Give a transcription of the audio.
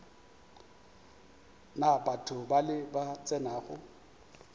na batho bale ba tsenago